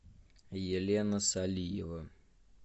елена салиева